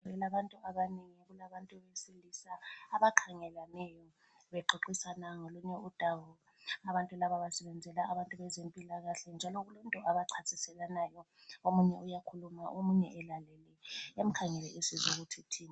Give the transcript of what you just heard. Abantu abanengi kulabantu abesilisa abakhangelaneyo bexoxisana ngolunye udaba. Abantu laba basebenzela abezempilakahle njalo kulento abayichasiselanayo. Omunye uyakhuluma omunye elalele emkhangele esizwa ukuthi uthini.